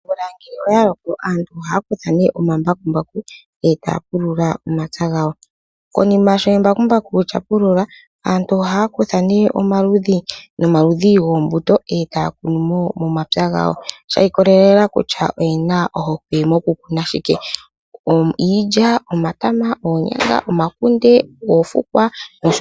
Omvula ngele oya loko aantu ohaya kutha omambakumbaku e taya pulula omapya gawo. Konima sho embakumbaku lya pulula aantu ohaya kutha omaludhi nomaludhi goombuto e taya kunu momapya gawo shi ikolelela kutya oye na ohokwe mokukuna moshike; iilya, omatama, oonyanga, omakunde, oofukwa nosho tuu.